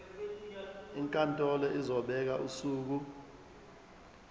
inkantolo izobeka usuku